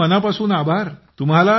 तुमचे मनापासून आभार